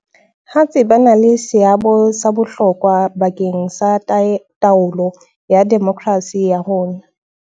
hatsi ba na le seabo sa bohlokwa ba keng sa taolo ya demokrasi ya rona.